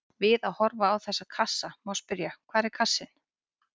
Við að horfa á þessa kassa má spyrja: hvar er kassinn?